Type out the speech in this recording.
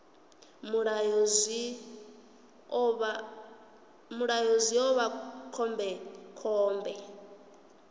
mulayo zwi ḓo vha khombekhombe